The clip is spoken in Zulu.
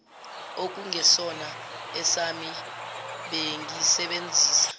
okungesona esami bengisebenzisa